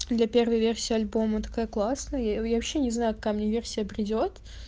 для первой версии альбома такая классная я вообще не знаю какая мне версия придёт